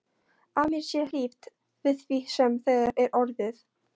Að mér sé hlíft við því sem þegar er orðið.